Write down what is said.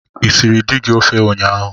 I siiri dị gị ofe ụnyaahụ?